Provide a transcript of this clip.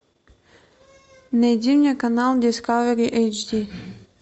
найди мне канал дискавери эйч ди